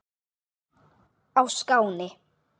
á Skáni.